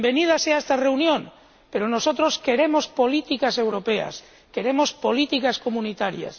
Bienvenida sea esta reunión, pero nosotros queremos políticas europeas, queremos políticas comunitarias.